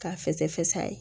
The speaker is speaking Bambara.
K'a fɛsɛfɛsɛ